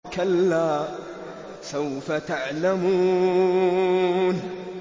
كَلَّا سَوْفَ تَعْلَمُونَ